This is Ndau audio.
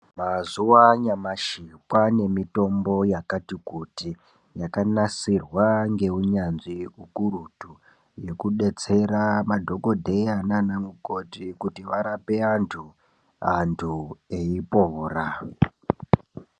Mazuwanyashi kwane mitombo yakati kuti yakanasirwa ngeunyanzvi ukurutu yekudetsera madhokodheya nana mukoti kuti varape antu, antu eipora.